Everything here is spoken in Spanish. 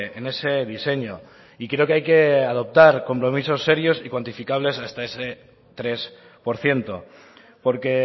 en ese diseño y creo que hay que adoptar compromisos serios y cuantificables hasta ese tres por ciento porque